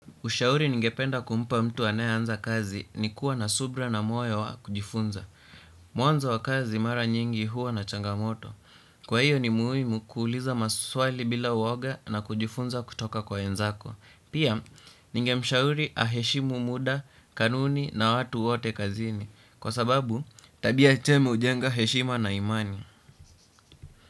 Ushauri ningependa kumpa mtu anayeanza kazi ni kuwa na subra na moyo wa kujifunza. Mwanzo wa kazi mara nyingi huwa na changamoto. Kwa hiyo ni muhimu kuuliza maswali bila woga na kujifunza kutoka kwa wenzako. Pia, ningemshauri aheshimu muda, kanuni na watu wote kazini. Kwa sababu, tabia chema hujenga heshima na imani.